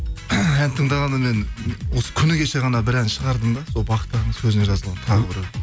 ән тыңдағанда мен осы күні кеше ғана бір ән шығардым да сол бақыт ағаның сөзіне жазылға тағы бір